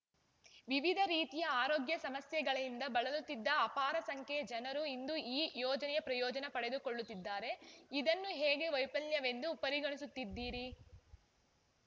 ವಿವಿಧ ರೀತಿಯ ಆರೋಗ್ಯ ಸಮಸ್ಯೆಗಳಿಂದ ಬಳಲುತ್ತಿದ್ದ ಅಪಾರ ಸಂಖ್ಯೆಯ ಜನರು ಇಂದು ಈ ಯೋಜನೆಯ ಪ್ರಯೋಜನ ಪಡೆದುಕೊಳ್ಳುತ್ತಿದ್ದಾರೆ ಇದನ್ನು ಹೇಗೆ ವೈಫಲ್ಯವೆಂದು ಪರಿಗಣಿಸುತ್ತೀದಿರಿ